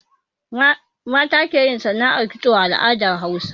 Mata ke yin sana'ar kitso a al'adar Bahaushe